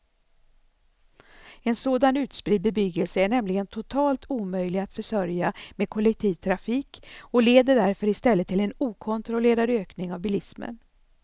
En sådan utspridd bebyggelse är nämligen totalt omöjlig att försörja med kollektiv trafik och leder därför i stället till en okontrollerad ökning av bilismen.